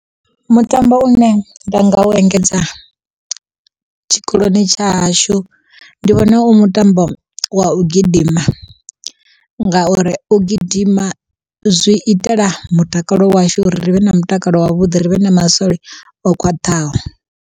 Mutambo une nda nga u engedza, tshikoloni tsha hashu ndi vhona u mutambo wa u gidima. Ngauri u gidima zwi itela mutakalo washu uri ri vhe na mutakalo wavhuḓi ri vhe na masole o khwaṱhaho.